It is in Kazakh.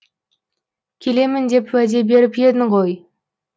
келемін деп уәде беріп едің ғой